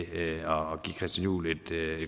herre christian juhl et